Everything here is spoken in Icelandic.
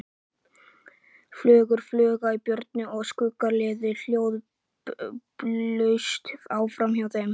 Fuglar flugu í björgunum og skuggarnir liðu hljóðlaust framhjá þeim.